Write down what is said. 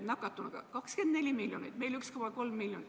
Neil on elanikke 24 miljonit ja meil 1,3 miljonit.